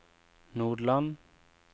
Nodeland